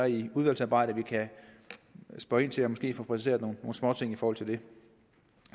i udvalgsarbejdet kan spørge ind til og måske få præciseret nogle småting i forhold til det